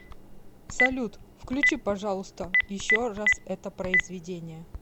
салют включи пожалуйста еще раз это произведение